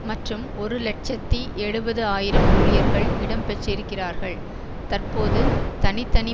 மற்றும் ஒரு இலட்சத்தி எழுபது ஆயிரம் ஊழியர்கள் இடம் பெற்றிருக்கிறார்கள் தற்போது தனி தனி